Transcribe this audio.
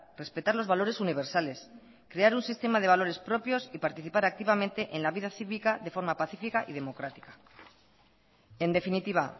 respetar los valores universales crear un sistema de valores propios y participar activamente en la vida cívica de forma pacifica y democrática en definitiva